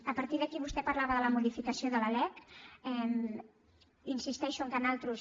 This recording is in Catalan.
a partir d’aquí vostè parlava de la modificació de la lec hi insisteixo que nosaltres